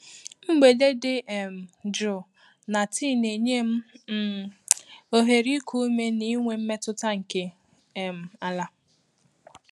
Mgbede dị um jụụ na tii na-enye m um ohere iku ume na inwe mmetụta nke um ala.